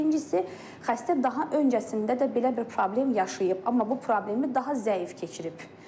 Birincisi xəstə daha öncəsində də belə bir problem yaşayıb, amma bu problemi daha zəif keçirib.